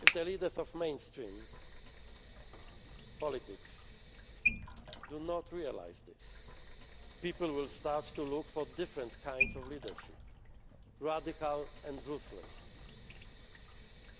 If the leaders of mainstream politics do not realise this, people will start to look for different kinds of leadership, radical and ruthless,